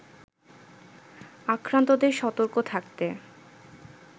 আক্রান্তদের সতর্ক থাকতে